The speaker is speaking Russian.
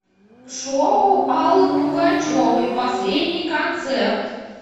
шоу аллы пугачевы последний концерт